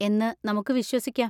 എന്ന് നമുക്ക് വിശ്വസിക്കാം.